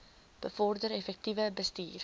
bevorder effektiewe bestuur